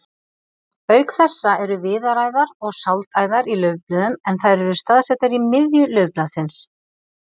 Auk þessa eru viðaræðar og sáldæðar í laufblöðum en þær eru staðsettar í miðju laufblaðsins.